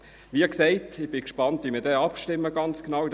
Wie gesagt, ich bin gespannt, wie wir dann ganz genau abstimmen.